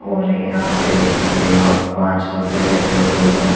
और यहां पे देख सकते हो आप पांच औरतें बैठी हुई है।